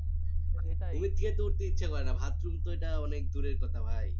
খেতে উঠতে ইচ্ছা করে না বাথরুম তো এটা অনেক দূরের কথা ভাই